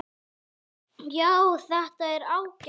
Já, þetta er ágætt.